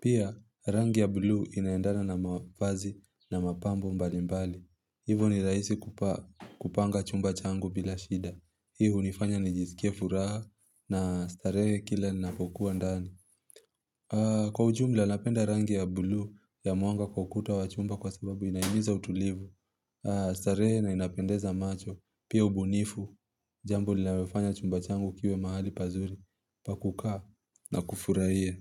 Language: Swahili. Pia rangi ya buluu inaendana na mavazi na mapambo mbalimbali. Hivo ni rahisi kupanga chumba changu bila shida. Hii hunifanya ni jisikia furaha na starehe kila napokuwa ndani. Kwa ujumla napenda rangi ya buluu ya mwanga kwa ukuta wachumba kwa sababu inaihimiza utulivu starehe na inapendeza macho, pia ubunifu Jambo linalofanya chumba changu kiuwe mahali pazuri Pakukaa na kufurahia.